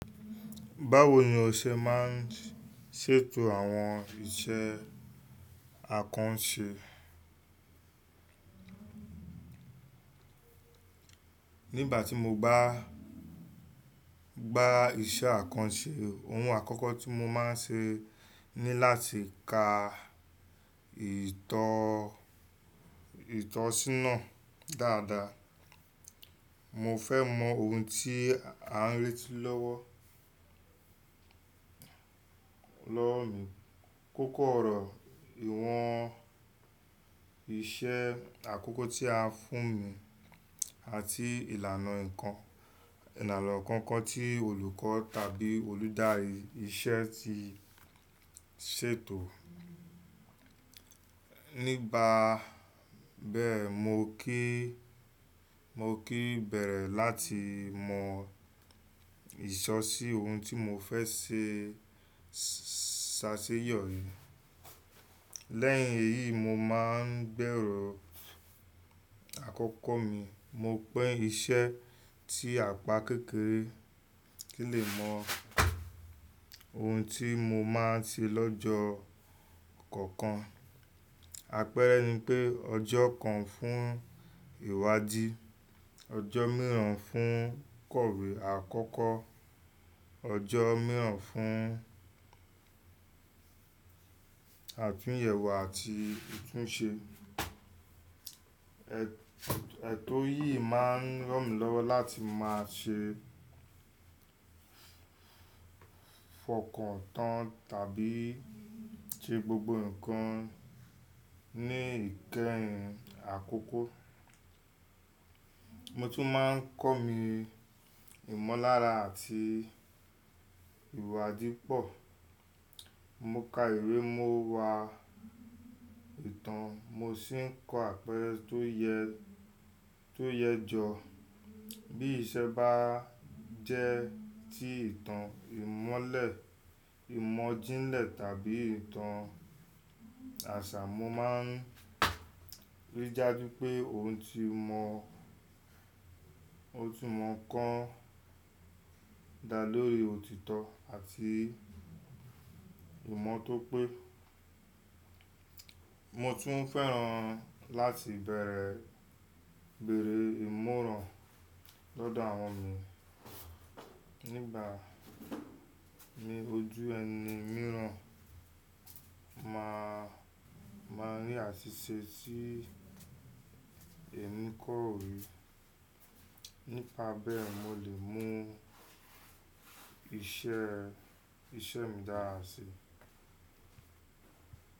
Báwo ni o ṣe máa ń ṣètò àwọn iṣẹ́ àkànṣe? Nígbà tí mo bá gba iṣẹ́ àkànṣe, ohun àkọ́kọ́ tí mo máa ń ṣe ni láti ka ìtọ̀sínà dáadáa. Mo fẹ́ mọ ohun tí à ń re tí lọ́wọ́ mi. Kókó ọ̀rọ̀, ìwọ̀n iṣẹ́ àkọ́kọ́ tí a fún mi àti ìlànà inkan kan tí olùkọ́ tàbí olùdarí iṣẹ́ ti ṣètò. Nígbà bẹ́ẹ̀, mo kíí bẹ̀rẹ̀ láti mọ ìsọ̀sí ohun tí mo fẹ́ ṣe ṣàṣeyọri. Lẹ́yìn èyí, mo máa ń bẹ̀rù àkọ́kọ́ mi. Mo pẹ iṣẹ́ tí apá kékeré kì í lè mọ ohun tí mo máa ń ṣe lọ́jọ́ kọ̀ọ̀kan. Àpẹẹrẹ ni pé ọjọ́ kan fún ìwádìí, ọjọ́ mìíràn fún kọ̀wé àkọ́kọ́, ọjọ́ mìíràn fún àtúnyẹ̀wò àti ìtúnṣe. Ètò yìí máa ń ràn mí lọ́wọ́ láti máa ṣe fọkàn tán tàbí ṣe gbogbo ǹkan ní ìkẹyìn àkọ́kọ́. Mo tún máa ń kọ́ mi ìmọ̀lára àti ìwádìí pọ̀. Mo ka ìwé, mo wa ìtàn, mo sì ń kọ́ àpẹẹrẹ tó yẹ jọ. Bí iṣẹ́ bá jẹ́ ti ìtàn ìmọ́lẹ̀, ìmọ̀ jínlẹ̀ tàbí ìtàn àṣà, mo máa ń rí i daju pé òun ti mọ̀ otunmo kan da lori ọ̀títọ́ àti ìmọ̀ tó pé. Mo tún fẹ́ràn láti bẹ̀rẹ̀ bẹ̀rẹ̀ ìmọ̀ràn lọ́dọ̀ àwọn mi. Nígbà ní ojú ẹni mìíràn máa ń rí àṣìṣe tí ẹni kò rí. Nípa bẹ́ẹ̀, mo lè mú iṣẹ́ mi dára sí i.